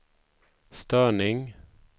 störning